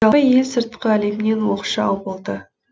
жалпы ел сыртқы әлемнен оқшау болды